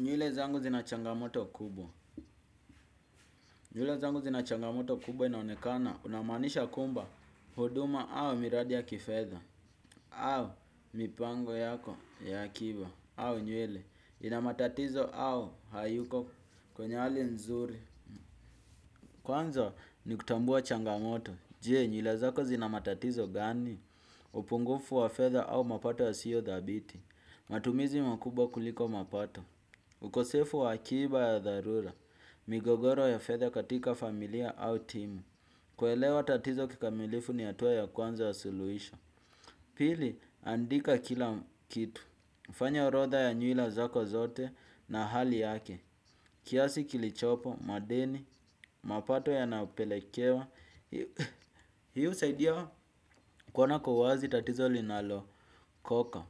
Nywele zangu zina changamoto kubwa. Nywele zangu zina changamoto kubwa inaonekana unamaanisha kwamba huduma au miradi ya kifedha au mipango yako ya akiba au nywele ina matatizo au hayuko kwenye hali nzuri. Kwanza ni kutambua changamoto, je nywele zako zina matatizo gani, upungufu wa fedha au mapato yasiyo dhabiti, matumizi makubwa kuliko mapato, ukosefu wa akiba ya dharura, migogoro ya fedha katika familia au timu. Kuelewa tatizo kikamilifu ni hatua ya kwanza wa suluhisho. Pili, andika kila kitu. Fanya orodha ya nywila zako zote na hali yake. Kiasi kilichopo madeni mapato yanapelekewa. Hii husaidia kuona kwa uwazi tatizo linalo. Koka,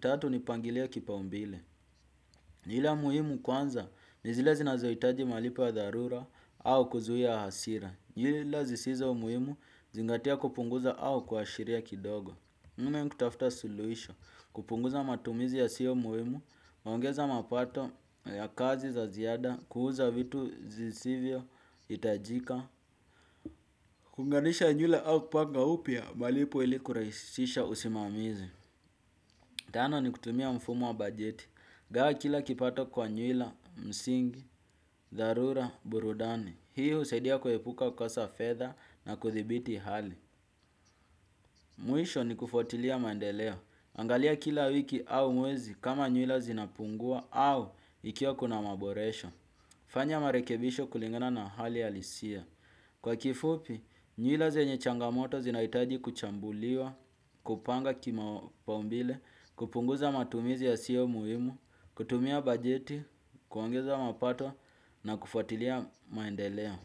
tatu ni pangilia kipa umbile. Nywila muhimu kwanza ni zile zinazohitaji malipo ya dharura au kuzuia hasira. Nywila zisizo muhimu zingatia kupunguza au kuashiria kidogo. Mume ni kutafuta suluhisho, kupunguza matumizi yasiyo muhimu, huongeza mapato ya kazi za ziada, kuuza vitu zisivyo hitajika. Kuunganisha nywila au kupanga upya malipo ili kurahisisha usimamizi. Tano ni kutumia mfumo wa bajeti. Gawa kila kipato kwa nywila, msingi, dharura, burudani. Hii husaidia kuepuka kukosa fedha na kuthibiti hali. Mwisho ni kufuatilia maendeleo. Angalia kila wiki au mwezi kama nywila zinapungua au ikiwa kuna maboresho. Fanya marekebisho kulingana na hali ya lisia. Kwa kifupi, nywila zenye changamoto zinahitaji kuchambuliwa, kupanga kimapaumbile, kupunguza matumizi yasiyo muhimu, kutumia bajeti, kuangeza mapato na kufuatilia maendelea.